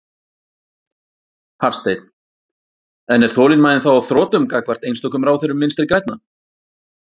Hafsteinn: En er þolinmæðin þá á þrotum gagnvart einstökum ráðherrum Vinstri-grænna?